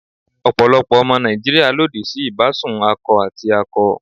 Ọ̀pọ̀lọpọ̀ ọmọ Nàìjíríà lòdì sí ìbásùn akọ àti akọ.